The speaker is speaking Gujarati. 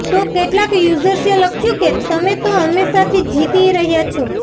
તો કેટલાંક યુઝર્સે લખ્યું કે તમે તો હંમેશાથી જીતી રહ્યાં છો